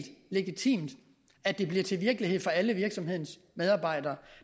legitimt at det bliver til virkelighed for alle virksomhedens medarbejdere